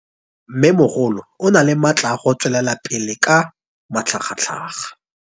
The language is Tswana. Mmêmogolo o na le matla a go tswelela pele ka matlhagatlhaga.